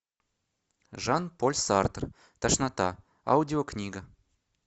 жан поль сартр тошнота аудио книга